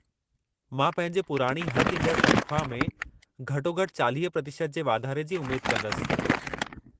मां पंहिंजे पुराणी हथ ईंदड़ु तनख़्वाह में घटो-घटि 40% जे वाधारे जी उमेदु कंदसि।